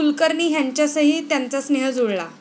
कुलकर्णी ह्यांच्यासही त्यांचा स्नेह जुळला